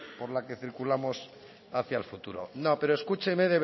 por la que circulamos hacia el futuro no pero escúcheme